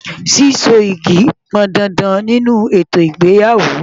Síso yìgì pọn dandan nínú ètò ìgbéyàwó.